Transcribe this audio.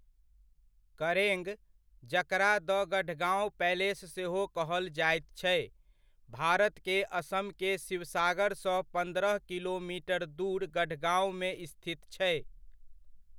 करेंग, जकरा द गढ़गांव पैलेस सेहो कहल जायत छै, भारत के असम के शिवसागर सँ पन्द्रह किलोमीटर दूर गढ़गाँवमे स्थित छै।